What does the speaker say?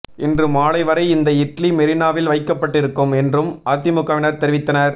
இன்று மாலை வரை இந்த இட்லி மெரீனாவில் வைக்கப்பட்டிருக்கும் என்றும் அதிமுகவினர் தெரிவித்தனர்